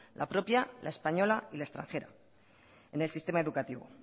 la propia la española y la extranjera en el sistema educativo